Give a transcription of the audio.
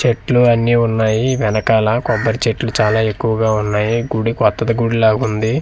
చెట్లు అన్నీ ఉన్నాయి వెనకాల కొబ్బరి చెట్లు చాలా ఎక్కువగా ఉన్నాయి గుడి కొత్తది గుడి లాగా ఉంది.